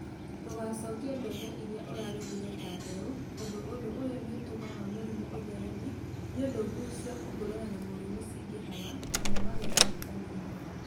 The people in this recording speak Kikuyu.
Ndũgacokie mbembe iria ũragethire ta mbeũ tondũ ũndũ ũyũ nĩũtũmaga mũrimũ ũthereme nĩũndũ mbuu cia kũhũrana na mũrimũ cingĩhaga namo magetha makanyiha.